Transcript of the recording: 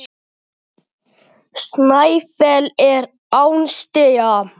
Snæfell er án stiga.